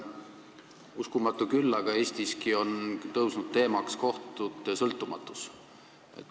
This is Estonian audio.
Uskumatu küll, aga Eestiski on tõusnud teemaks kohtute sõltumatus.